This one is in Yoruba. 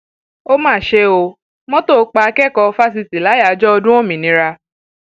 ó máa ṣe ọ mọtò pa akẹkọọ fásitì láyàájọ ọdún òmìnira